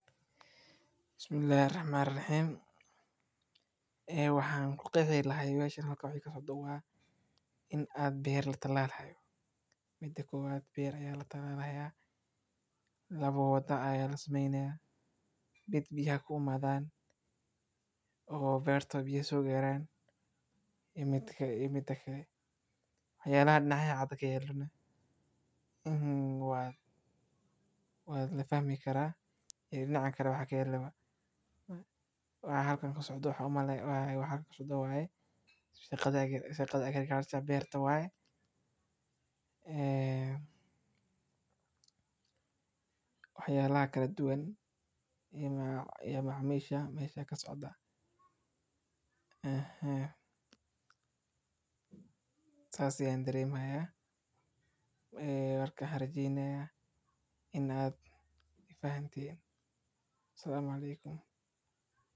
Markaad doonaysid inaad beerato qareen, waxaad u baahan tahay inaad doorato meel qorrax badan leh oo ay dhulku yahay mid nadiif ah oo ay biyuhu si fiican ugaadi karaan, kadibna iska hubi in dhulku uu yahay mid jilicsan oo ay ku badan yihiin wixii nafaqo ah oo loo baahan yahay, waxaadna bilaabi kartaa inaad ku shubto miro qareen ah oo tayo sare leh oo aad ku shubto godad dhererkiisu yahay illaa oo isku bedbed ah, kadibna si fiican ugaadi godadka biyo qoyan kadibna u dhowraa inaad had iyo jeer biyuhu ku siinayso qareenka si uu u kori oo uu u qalanto si fiican.